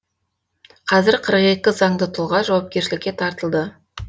қазір қырық екі заңды тұлға жауапкершілікке тартылды